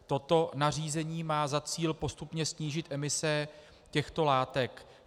Toto nařízení má za cíl postupně snížit emise těchto látek.